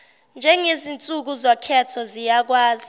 ngezinsuku zokhetho ziyakwazi